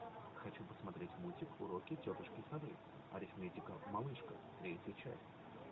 хочу посмотреть мультик уроки тетушки совы арифметика малышка третья часть